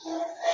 Unhun